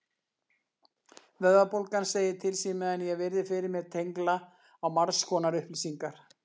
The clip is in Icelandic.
Vöðvabólgan segir til sín meðan ég virði fyrir mér tengla á margskonar upplýsingar.